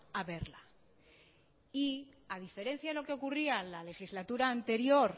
a verla y a diferencia de lo que ocurría la legislatura anterior